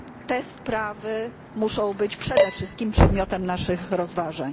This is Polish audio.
Te sprawy muszą być przede wszystkim przedmiotem naszych rozważań.